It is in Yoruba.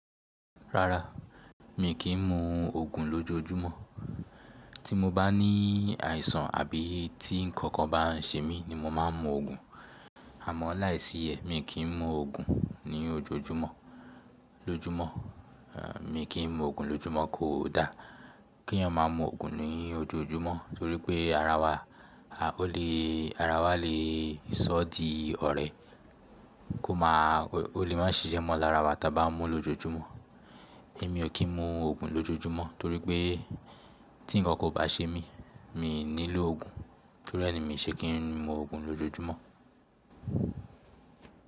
Rárá, mi kì í mu Ògùn lójojúmọ́. Tí mo bá ní àìsàn àbí tí ǹkankan bá ń ṣe mí ni mo máa ń mu Ògùn. Àmọ́ láìsí ẹ̀, mi kì í mu Ògùn ní ojoojúmọ́. Lójúmọ́, mi kì í mu Ògùn lójúmọ́ kò da. Kí ẹ̀yin máa mú Ògùn ní ojoojúmọ́ torí pé ara wa, a ó lè, ara wa lè sọ́ di ọ̀rẹ́, kó máa, ó lè má ṣiṣẹ́ mọ́ ara wa tí a bá mú lọ́jọ́júmọ́. Èmi ò kí ń mu Ògùn lójoojúmọ́ torí pé tí ǹkankan ò bá ṣe mí, mi nílò Ògùn. Torí ẹ ni mi ò ṣe kí ń mu Ògùn lójoojúmọ́.